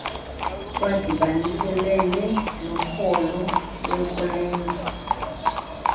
lwadibaniselene nokholo lwenkolelo